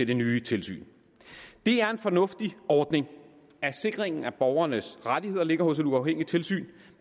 det nye tilsyn det er en fornuftig ordning at sikringen af borgernes rettigheder ligger hos et uafhængigt tilsyn